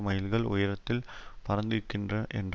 மைல்கள் உயரத்தில் பறந்திருக்கின்ற என்ற